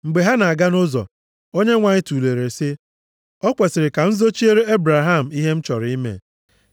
Mgbe ha na-aga nʼụzọ, Onyenwe anyị tulere sị, “O kwesiri ka m zochiere Ebraham ihe m chọrọ ime?